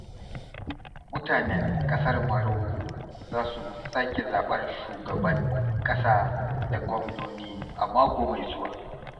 Mutanen ƙasar Maroko za su sake zaɓar shugban ƙasa da gwamnoni a mako mai zuwa.